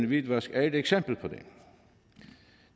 hvidvask er et eksempel på det